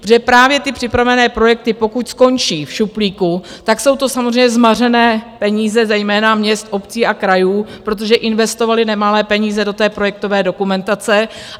Protože právě ty připravené projekty, pokud skončí v šuplíku, tak jsou to samozřejmě zmařené peníze zejména měst, obcí a krajů, protože investovaly nemalé peníze do té projektové dokumentace.